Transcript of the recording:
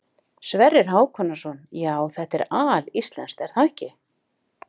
Sverrir Hákonarson: Já, þetta er alíslenskt er það ekki?